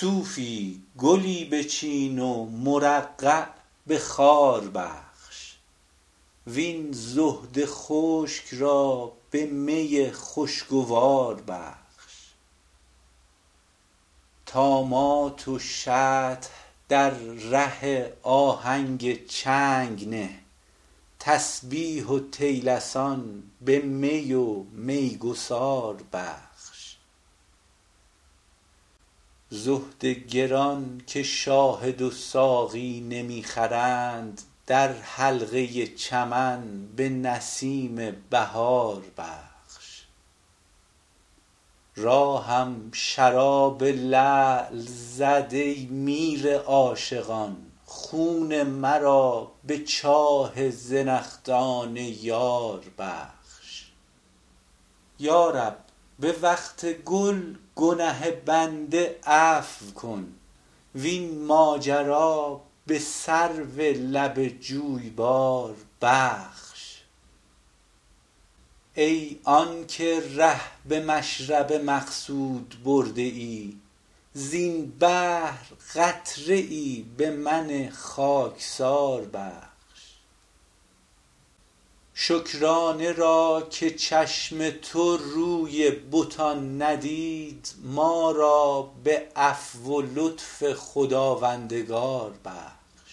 صوفی گلی بچین و مرقع به خار بخش وین زهد خشک را به می خوشگوار بخش طامات و شطح در ره آهنگ چنگ نه تسبیح و طیلسان به می و میگسار بخش زهد گران که شاهد و ساقی نمی خرند در حلقه چمن به نسیم بهار بخش راهم شراب لعل زد ای میر عاشقان خون مرا به چاه زنخدان یار بخش یا رب به وقت گل گنه بنده عفو کن وین ماجرا به سرو لب جویبار بخش ای آن که ره به مشرب مقصود برده ای زین بحر قطره ای به من خاکسار بخش شکرانه را که چشم تو روی بتان ندید ما را به عفو و لطف خداوندگار بخش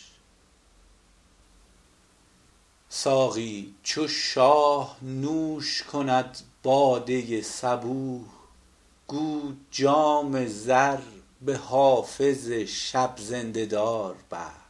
ساقی چو شاه نوش کند باده صبوح گو جام زر به حافظ شب زنده دار بخش